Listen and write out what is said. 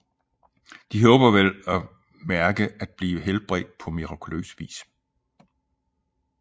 De håber vel at mærke at blive helbredt på mirakuløs vis